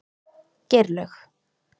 Geirlaug